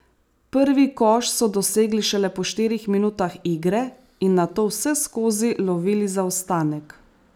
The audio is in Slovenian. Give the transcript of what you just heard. Prvi koš so dosegli šele po štirih minutah igre in nato vseskozi lovili zaostanek.